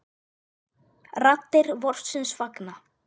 Raddir vorsins fagna.